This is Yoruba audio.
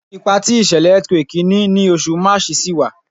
Ipa ti ìṣẹlẹ earthquake ni Oṣù March ṣi wa